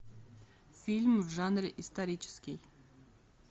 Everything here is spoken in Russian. фильм в жанре исторический